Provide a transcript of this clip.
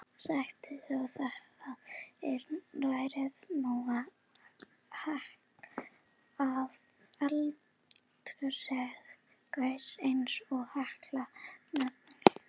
Sjaldgæft er að eldstöðvar gjósi eins og Hekla með reglulegu millibili.